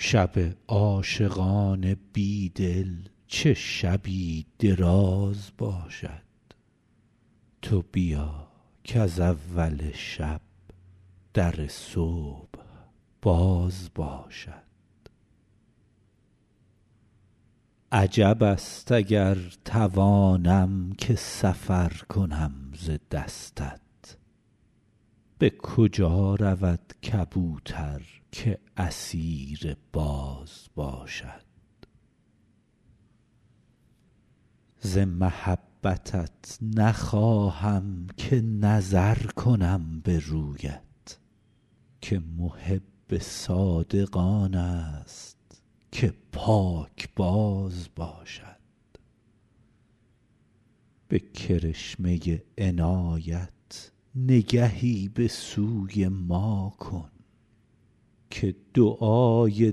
شب عاشقان بی دل چه شبی دراز باشد تو بیا کز اول شب در صبح باز باشد عجب است اگر توانم که سفر کنم ز دستت به کجا رود کبوتر که اسیر باز باشد ز محبتت نخواهم که نظر کنم به رویت که محب صادق آن است که پاکباز باشد به کرشمه عنایت نگهی به سوی ما کن که دعای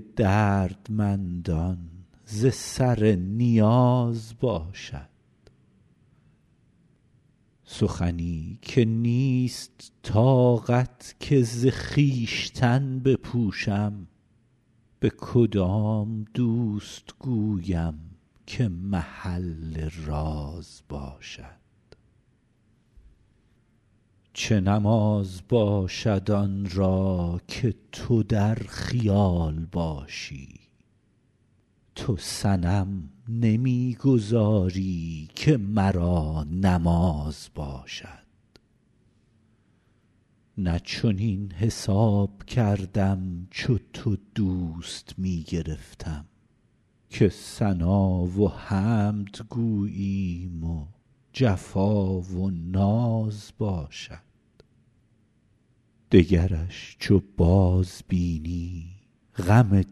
دردمندان ز سر نیاز باشد سخنی که نیست طاقت که ز خویشتن بپوشم به کدام دوست گویم که محل راز باشد چه نماز باشد آن را که تو در خیال باشی تو صنم نمی گذاری که مرا نماز باشد نه چنین حساب کردم چو تو دوست می گرفتم که ثنا و حمد گوییم و جفا و ناز باشد دگرش چو بازبینی غم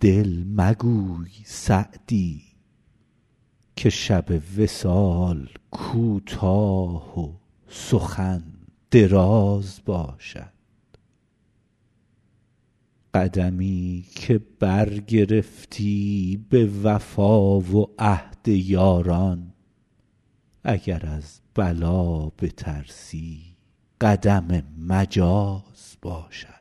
دل مگوی سعدی که شب وصال کوتاه و سخن دراز باشد قدمی که برگرفتی به وفا و عهد یاران اگر از بلا بترسی قدم مجاز باشد